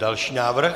Další návrh.